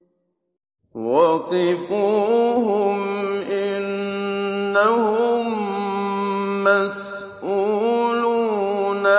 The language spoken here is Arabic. وَقِفُوهُمْ ۖ إِنَّهُم مَّسْئُولُونَ